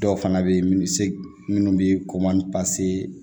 Dɔw fana bɛ yen minnu se minnu bɛ komanse